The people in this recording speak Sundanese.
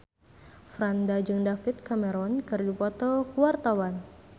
Franda jeung David Cameron keur dipoto ku wartawan